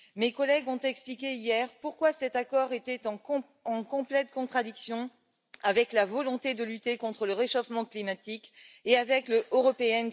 Mes collègues ont expliqué hier pourquoi cet accord était en complète contradiction avec la volonté de lutter contre le réchauffement climatique et avec le pacte vert européen.